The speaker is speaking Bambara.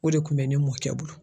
O de kun bɛ ne mɔkɛ bolo.